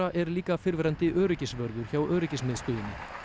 er líka fyrrverandi öryggisvörður hjá öryggismiðstöðinni